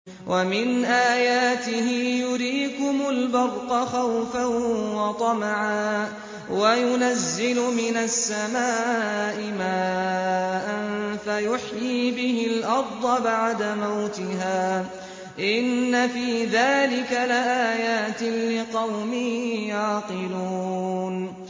وَمِنْ آيَاتِهِ يُرِيكُمُ الْبَرْقَ خَوْفًا وَطَمَعًا وَيُنَزِّلُ مِنَ السَّمَاءِ مَاءً فَيُحْيِي بِهِ الْأَرْضَ بَعْدَ مَوْتِهَا ۚ إِنَّ فِي ذَٰلِكَ لَآيَاتٍ لِّقَوْمٍ يَعْقِلُونَ